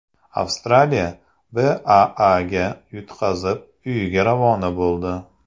Avstraliya BAAga yutqazib, uyiga ravona bo‘ldi .